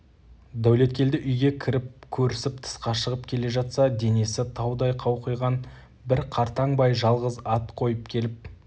дәулеткелді үйге кіріп көрісіп тысқа шығып келе жатса денесі таудай қауқиған бір қартаң бай жалғыз ат қойып келіп